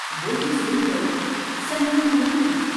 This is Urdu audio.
وہ یہ سن کر سن ہی تو ہو گیا ۔